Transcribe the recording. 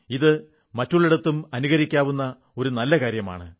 ഇത് മറ്റുള്ളിടത്തും അനുകരിക്കാവുന്ന ഒരു നല്ല കാര്യമാണ്